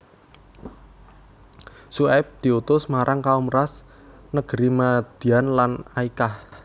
Syuaib diutus marang Kaum Rass negeri Madyan lan Aykah